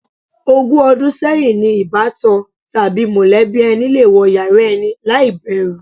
Ogún o̩dún sé̩yìn ni ìbátan tàbí mò̩lé̩bí e̩ni le wo̩ yàrá e̩ni láì bè̩rù.